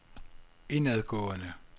indadgående